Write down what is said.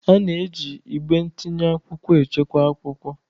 A na-eji igbe ntinye akwụkwọ echekwa akwụkwọ.